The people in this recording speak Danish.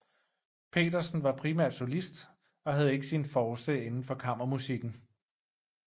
Petersen var primært solist og havde ikke sin force inden for kammermusikken